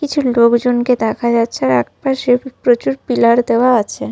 কিছু লোকজনকে দেখা যাচ্ছে আর একপাশে প্রচুর পিলার দেওয়া আছে।